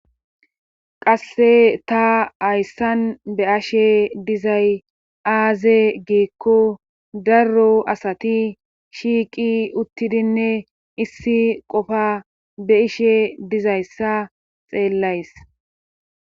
Qasse ta ayssan be ashe dizay aaze geekko daro asati shiiqi uttidinne issi qofa be ishe dizayssa xeellays